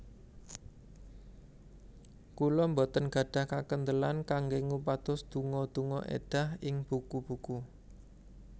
Kula boten gadhah kakendelan kanggé ngupados donga donga èdah ing buku buku